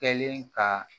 Kɛlen ka